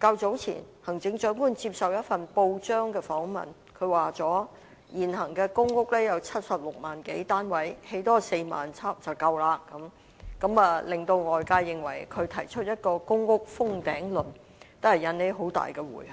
較早前接受一份報章訪問時說，現時公屋有76萬多個單位，多興建4萬個單位便足夠了，令外界認為她提出一個"公屋封頂論"，引起很大迴響。